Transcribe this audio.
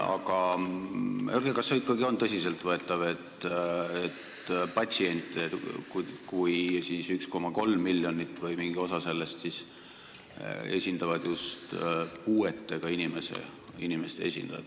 Aga kas see ikkagi on tõsiselt võetav, et patsiente, 1,3 miljonit inimest või mingit osa nendest, esindavad just puuetega inimeste esindajad?